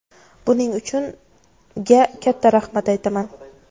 Buning uchun ga katta rahmat aytaman.